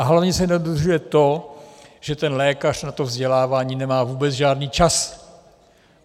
A hlavně se nedodržuje to, že ten lékař na to vzdělávání nemá vůbec žádný čas.